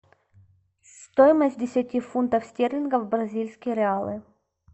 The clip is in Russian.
стоимость десяти фунтов стерлингов в бразильские реалы